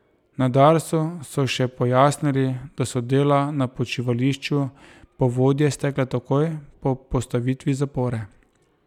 Na Darsu so še pojasnili, da so dela na počivališču Povodje stekla takoj po postavitvi zapore.